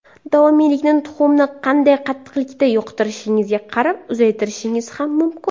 Davomiylikni tuxumni qanday qattiqlikda yoqtirishingizga qarab uzaytirishingiz ham mumkin.